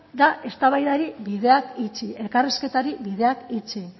da eztabaidari bideak itxi elkarrizketari bideak itxi